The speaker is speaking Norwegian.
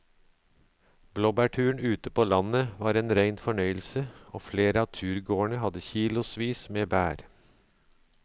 Blåbærturen ute på landet var en rein fornøyelse og flere av turgåerene hadde kilosvis med bær.